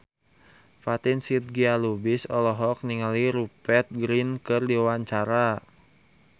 Fatin Shidqia Lubis olohok ningali Rupert Grin keur diwawancara